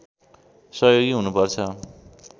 सहयोगी हुनुपर्छ